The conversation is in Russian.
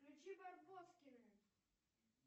включи барбоскины